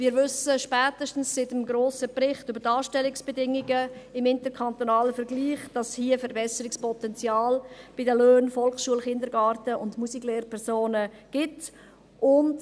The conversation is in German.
Wir wissen spätestens seit dem grossen Bericht über die Anstellungsbedingungen im interkantonalen Bereich, dass bei den Löhnen in der Volksschule und im Kindergarten sowie bei den Musiklehrpersonen ein Problem besteht.